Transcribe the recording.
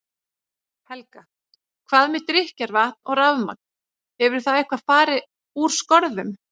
Helga: Hvað með drykkjarvatn og rafmagn, hefur það eitthvað fari úr skorðum?